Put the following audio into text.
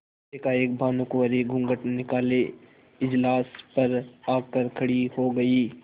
एकाएक भानुकुँवरि घूँघट निकाले इजलास पर आ कर खड़ी हो गयी